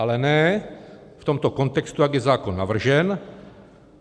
Ale ne v tomto kontextu, jak je zákon navržen.